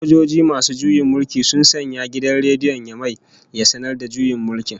Sojoji masu juyin mulki sun sanya gidan rediyon Yamai ya sanar da juyin mulki